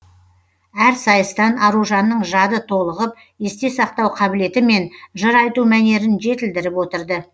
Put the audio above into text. әр сайыстан аружанның жады толығып есте сақтау қабілеті мен жыр айту мәнерін жетілдіріп отырды